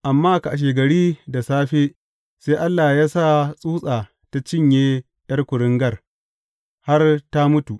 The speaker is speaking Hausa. Amma kashegari da safe sai Allah ya sa tsutsa ta cinye ’yar kuringar har ta mutu.